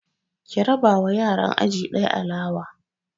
Ki raba wa yaran aji ɗaya alawa!